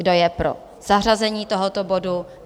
Kdo je pro zařazení tohoto bodu?